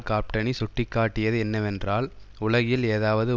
காப்டனி சுட்டி காட்டியது என்னவென்றால் உலகில் ஏதாவது